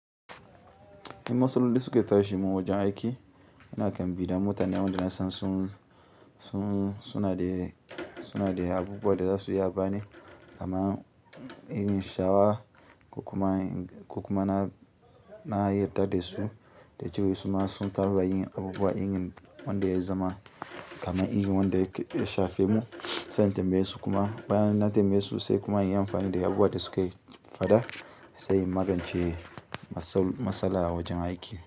In masaloli suke tashi mun wajen aiki, ina kan bi da mota ne wanda na san sun, sun suna da abubuwa da za su iya bani kamar irin shawa, ko kuma na yi yarda da su da cewa su ma sun taɓa yin abubuwa irin wanda ya zama kamar irin wanda ya shafe mu sai in tambaye su kuma bayan na tambaye su sai kuma inyi amfani da abubuwan da suka faɗa sai in magance matsala a wajen aiki.